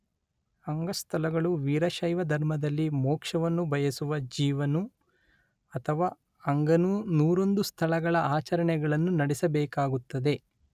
ಅಂಗಸ್ಥಲಗಳು ವೀರಶೈವ ಧರ್ಮದಲ್ಲಿ ಮೋಕ್ಷವನ್ನು ಬಯಸುವ ಜೀವನು ಅಥವಾ ಅಂಗನು ನೂರೊಂದು ಸ್ಥಳಗಳ ಆಚರಣೆಗಳನ್ನು ನಡೆಸಬೇಕಾಗುತ್ತದೆ